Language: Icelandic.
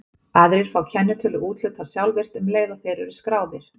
Aðrir fá kennitölu úthlutað sjálfvirkt um leið og þeir eru skráðir.